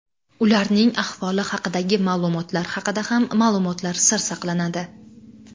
Ularning ahvoli haqidagi ma’lumotlar haqida ham ma’lumotlar sir saqlanadi.